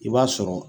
I b'a sɔrɔ